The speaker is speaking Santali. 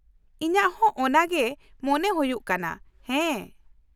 ᱤᱧᱟᱹᱜ ᱦᱚᱸ ᱚᱱᱟᱜᱮ ᱢᱚᱱᱮ ᱦᱩᱭᱩᱜ ᱠᱟᱱᱟ, ᱦᱮᱸ ᱾